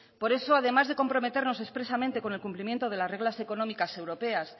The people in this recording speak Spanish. por eso además de comprometernos expresamente con el cumplimiento de las reglas económicas europeas